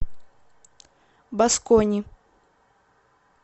баскони